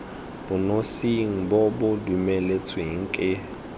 bonosing bo bo dumeletsweng ke